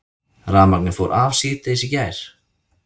Rafmagnið fór af síðdegis í gær